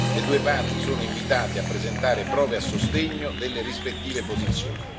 Le due parti sono invitate a presentare prove a sostegno delle rispettive posizioni.